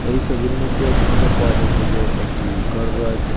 এই সোবির মইদ্যে দ্যাখতে পাওয়া যাচ্চে যে একটি গর রয়েসে।